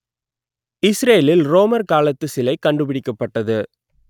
இஸ்ரேலில் ரோமர் காலத்து சிலை கண்டுபிடிக்கப்பட்டது